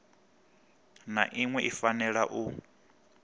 na iṅwe i fanela u